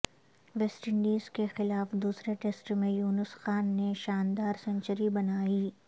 West Indies کے خلاف دوسرے ٹیسٹ میں یونس خان نے شاندار سنچری بنائی